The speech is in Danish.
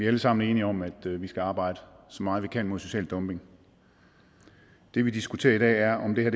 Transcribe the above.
alle sammen enige om at vi skal arbejde så meget vi kan mod social dumping det vi diskuterer i dag er om det her